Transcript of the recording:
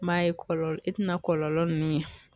N m'a ye kɔlɔlɔ e tina kɔlɔlɔ nunnu ye